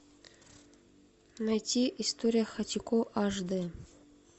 найти история хатико аш д